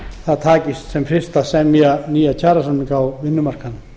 það takist sem fyrst að gera nýja kjarasamninga á vinnumarkaði